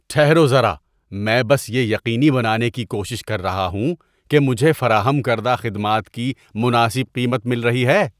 ٹھہرو ذرا، میں بس یہ یقینی بنانے کی کوشش کر رہا ہوں کہ مجھے فراہم کردہ خدمات کی مناسب قیمت مل رہی ہے۔